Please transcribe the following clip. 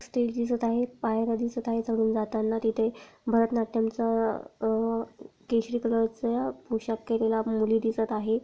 Stage दिसत आहे पायर्‍या दिसत आहे चढून जाताना तिथे भरतनाट्यम च अह केशरी कलरचा पोशाक केलेला मुली दिसत आहे.